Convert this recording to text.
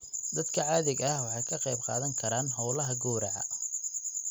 Dadka caadiga ah waxay ka qayb qaadan karaan hawlaha gowraca.